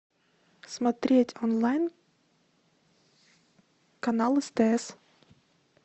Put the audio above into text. смотреть онлайн канал стс